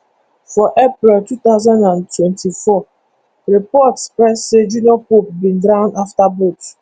for april two thousand and twenty-four report spread say junior pope bin drown afta boat